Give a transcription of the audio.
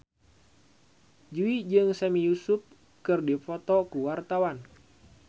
Jui jeung Sami Yusuf keur dipoto ku wartawan